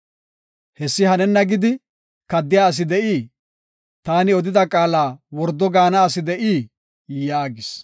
Hessi hanenna gidi kaddiya asi de7ii? taani odida qaala wordo gaana asi de7ii?” yaagis.